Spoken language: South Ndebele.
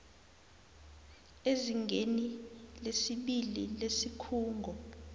ezingeni lesibili lesikhungo